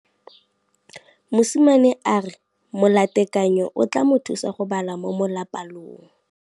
Mosimane a re molatekanyô o tla mo thusa go bala mo molapalong.